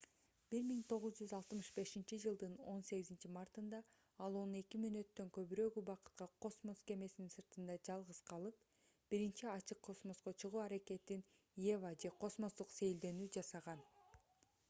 1965-жылдын 18-мартында ал он эки мүнөттөн көбүрөөк убакытка космос кемесини сыртында жалгыз калып биринчи ачык космоско чыгуу аракетин eva же космостук сейилдөөнү жасаган